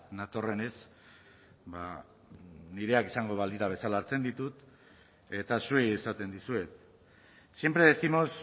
natorrenez ba nireak izango balira bezala hartzen ditut eta zuei esaten dizuet siempre décimos